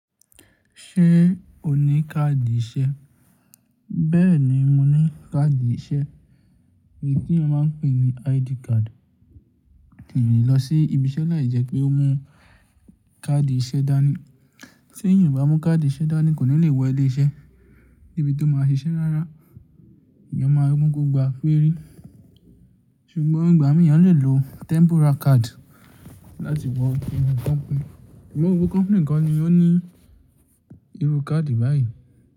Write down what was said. Ṣé o ní káàdì iṣẹ́? Bẹ́ẹ̀ni, mo ní káàdì iṣẹ́. Èyí tí a máa ń pè ní ID card. Ènìyàn lọ sí ibi iṣẹ́ láì jẹ́ pé ó mú káàdì iṣẹ́ dání. Tí èyàn ò bá mú káàdì iṣẹ́ dání kò ní lè wọ ilé iṣẹ́ níbi tó máa ṣiṣẹ́ rárá. Èèyàn máa mú gbogbo àpérí. Ṣùgbọ́n nígbà èyàn lè lo temporal card láti wọ inú company. Ṣùgbọ́n gbogbo company nìkan ni ó ní irú káàdì báyìí.